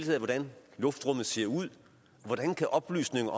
ved hvordan luftrummet ser ud hvordan kan oplysninger